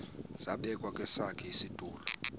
zabekwa kwesakhe isitulo